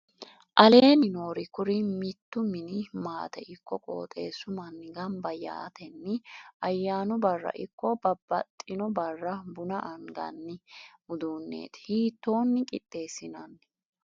aleenni noori kuri mittu mini maate ikko qoxxeessu manni gamba yaatenni ayyanu barra ikko babbaxino barra buna anganni uduuneeti. hiitoonni qixxessinanni?